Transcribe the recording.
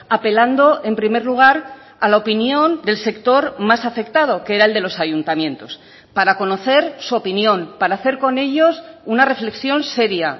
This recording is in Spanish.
apelando en primer lugar a la opinión del sector más afectado que era el de los ayuntamientos para conocer su opinión para hacer con ellos una reflexión seria